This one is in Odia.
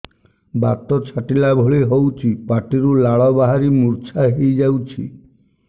ବାତ ଛାଟିଲା ଭଳି ହଉଚି ପାଟିରୁ ଲାଳ ବାହାରି ମୁର୍ଚ୍ଛା ହେଇଯାଉଛି